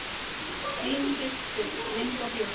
Þín systir, Linda Björk.